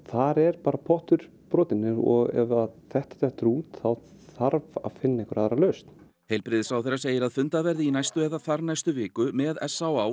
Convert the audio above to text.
þar er pottur brotinn og ef þetta dettur út þarf að finna aðra lausn heilbrigðisráðherra segir að fundað verði í næstu eða þarnæstu viku með s á